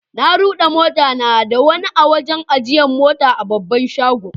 Na rude mota na da wani a'wajen ajiyan mota a babban shagon.